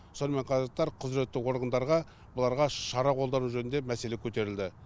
сонымен қатар құзіретті органдарға бұларға шара қолдану жөнінде мәселе көтерілді